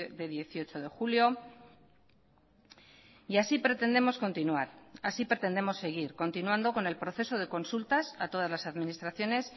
de dieciocho de julio y así pretendemos continuar así pretendemos seguir continuando con el proceso de consultas a todas las administraciones